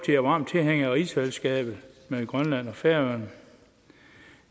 varme tilhængere af rigsfællesskabet med grønland og færøerne